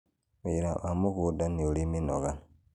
wĩra wa mũgũnda nĩũri mĩnoga.